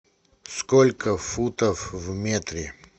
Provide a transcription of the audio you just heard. сколько футов в метре